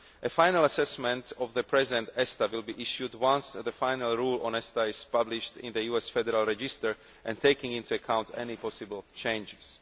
A final assessment of the present ESTA will be issued once the final rule on ESTA is published in the USA Federal Register, taking into account any possible changes.